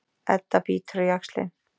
Edda bítur á jaxlinn.